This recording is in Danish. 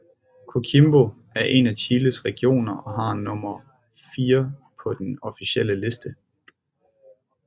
Coquimbo er en af Chiles regioner og har nummer IV på den officielle liste